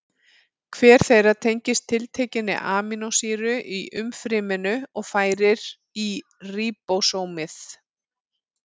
Hver þeirra tengist tiltekinni amínósýru í umfryminu og færir í ríbósómið.